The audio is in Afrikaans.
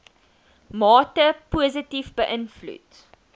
mate positief beïnvloed